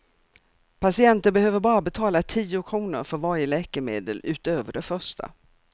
Patienten behöver bara betala tio kronor för varje läkemedel utöver det första.